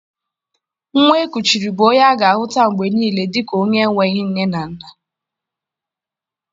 Nwa e kuchiri bụ onye a ga-ahuta mgbe niile dika onye enweghị nne na nna